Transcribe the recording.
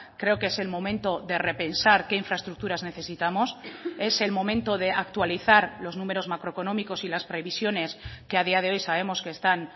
creo que es el momento de repensar qué infraestructuras necesitamos es el momento de actualizar los números macroeconómicos y las previsiones que a día de hoy sabemos que están